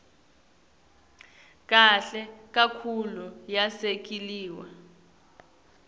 kahle kakhulu yasekelwa